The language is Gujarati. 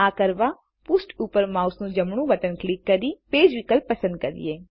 આ કરવાપૃષ્ઠ ઉપર માઉસનું જમણું બટન ક્લિક કરી પેજ વિકલ્પ પસંદ કરીએ